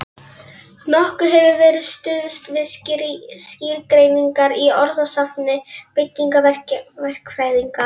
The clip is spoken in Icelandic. Nokkuð hefur verið stuðst við skýrgreiningar í orðasafni byggingaverkfræðinga.